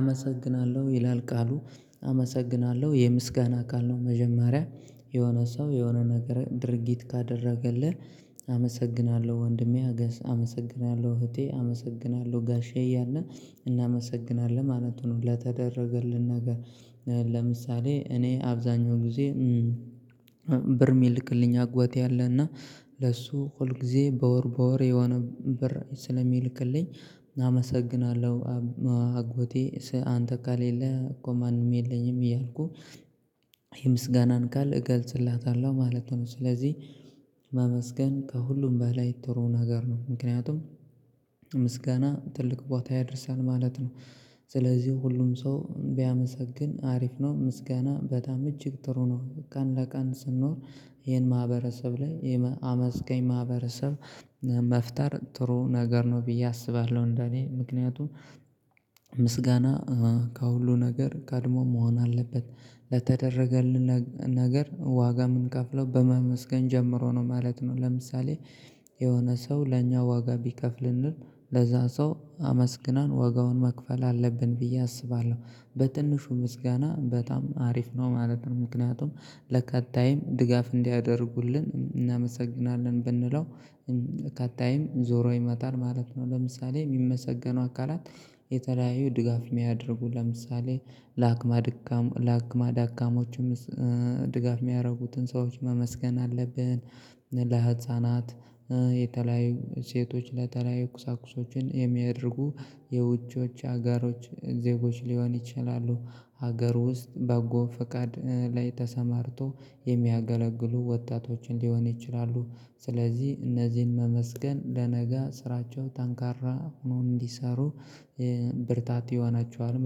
አመሰግናለሁ ይላል ቃሉ አመሰግናለሁ የምስጋና ቃል ነው መጀመሪያ የሆነ ሰው የሆነ ነገር ድርጊት ካደረገልን አመሰግናለሁ ወንድሜ አገስ አመሰግናለሁ እህቴ አመሰግናለሁ ጋሼ እያልነ እናመሰግናለን ማለት ነው ለተደረገልን ነገር። ለምሳሌ እኔ አብዛኛው ጊዜ ብር የሚልክልኝ አግቴ አለና ለሱ ሁል ጊዜ በወር በወር የሆነ ብር ስለሚልክልኝ አመሰግናለሁ። አግቴ አንተ ካሌለህ እኮ ማንም የለኝም እያልኩ የምስጋናን ቃል እገልጽለታለሁ ማለት ነው። ስለዚህ ማመስገን ከሁሉም በላይ ጥሩ ነገር ነው። ምክንያቱም ምስጋና ትልቅ ቦታ ያደርሳል ማለት ነው። ስለዚህ ሁሉም ሰው ቢያመሰግን አሪፍ ነው ምስጋና በጣም እጅግ ጥሩ ነው። ቀን ለቀን ስንኖር ይሄን ማህበረሰብ ላይ አመስጋኝ ማህበረሰብ መፍጠር ጥሩ ነገር ነው ብዬ አስባለሁ። እንደኔ ምክንያቱም ምስጋና ከሁሉ ነገር ቀድሞ መሆን አለበት ለተደረገልን ነገር ዋጋ ምንከፍለው በማመስገን ጀምሮ ነው ማለት ነው። ለምሳሌ የሆነ ሰው ለኛ ዋጋ ቢከፍልልን ለዛ ሰው አመስግነን ዋጋውን መክፈል አለብን ብዬ አስባለሁ። በትንሹ ምስጋና በጣም አሪፍ ነው ማለት ነው ምክንያቱም ለቀጣይም ድጋፍ እንዲያደርጉልን እናመሰግናለን ብንለው ከጣይም ዞሮ ይመጣል ማለት ነው። ለምሳሌ የሚመሰገነው አካላት የተለያዩ ድጋፍ የሚያደርጉ ለምሳሌ አለቅመ ደካማ ለአክማ ደካሞችም ድጋፍ የሚያደርጉትን ሰዎች መመስገን አለብን። ለህፃናት የተለያዩ ሴቶች ለተለያዩ ቁሳኩሶችን የሚያደርጉ የውጪዎች ሀገሮች ዜጎች ሊሆን ይችላሉ ሀገር ውስጥ በጎ ፈቃድ ላይ ተሰማርቶ የሚያገለግሉ ወጣቶችን ሊሆን ይችላሉ። ስለዚህ እነዚህን መመስገን ለነጋ ስራቸው ተንካራ ሆኖ እንዲሰሩ ብርታት ይሆናቸዋል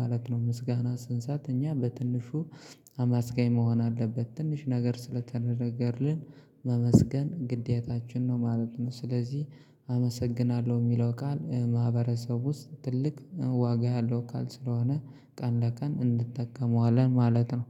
ማለት ነው። ምስጋና ስንሰት እኛ በትንሹ አማስጋኝ መሆን አለብን ትንሽ ነገር ስለተደረገልን ማመስገን ግዴታችን ነው ማለት ነው። ስለዚህ አመሰግናለሁ የሚለው ቃል ማህበረሰብ ውስጥ ትልቅ ዋጋ ያለው ቃል ስለሆነ ቀን ለቀን እንጠቀመዋለን ማለት ነው